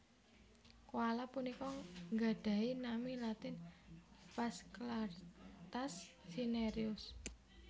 Koala punika nggadhahi nami latin Phasclarctas Cinereus